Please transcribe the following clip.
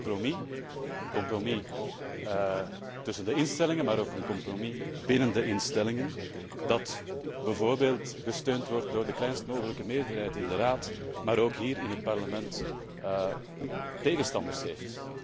Het is een compromis, een compromis tussen de instellingen, maar ook een compromis binnen de instellingen, dat bijvoorbeeld gesteund wordt door de kleinst mogelijke meerderheid in de Raad, maar dat ook hier in het Parlement tegenstanders heeft.